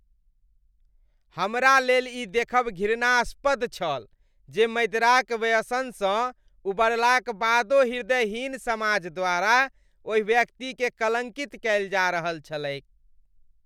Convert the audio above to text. हमरा लेल ई देखब घृणास्पद छल जे मदिराक व्यसनसँ उबरलाक बादो हृदयहीन समाज द्वारा ओहि व्यक्तिकेँ कलङ्कित कएल जा रहल छलैक।